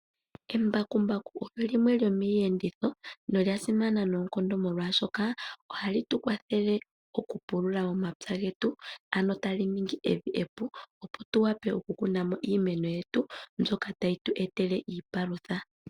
Embakumbaku olyo limwe lyomiiyenditho nolya simana noonkondo, molwashoka ohali tu kwathele okupulula momapya getu, ano tali ningi evi epu, opo tu wape okukuna mo iimeno yetu mbyoka tayi tu etele iipalutha.